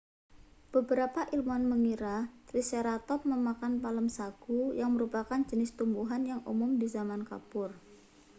beberapa ilmuwan mengira triceratop memakan palem sagu yang merupakan jenis tumbuhan yang umum di zaman kapur